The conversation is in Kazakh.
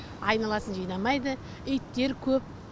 айналасын жинамайды иттер көп